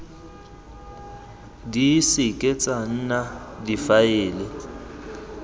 di seke tsa nna difaele